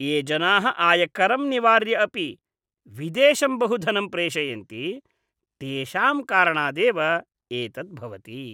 ये जनाः आयकरं निवार्य अपि विदेशं बहु धनं प्रेषयन्ति, तेषां कारणादेव एतत् भवति।